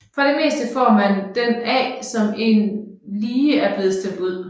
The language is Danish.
For det meste får man den af en som lige er blevet stemt ud